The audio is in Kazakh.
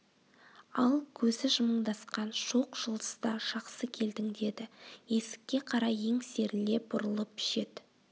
ал көзі жымыңдасқан шоқ жұлдызда жақсы келдің деді есікке қарай еңсеріле бұрылып жет